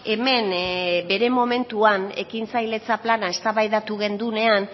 hemen bere momentuan ekintzailetza plana eztabaidatu genuean